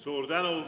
Suur tänu!